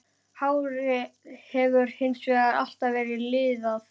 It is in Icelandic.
Hárið hefur hins vegar alltaf verið liðað.